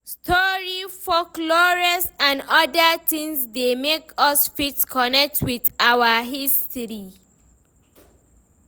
Story, folklores and oda things dey make us fit connect with our history